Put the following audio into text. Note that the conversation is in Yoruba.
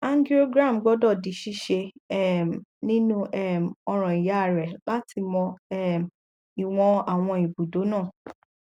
angiogram gbọdọ di ṣíṣe um nínú um ọràn ìyá rẹ láti mọ um ìwọn àwọn ibùdó náà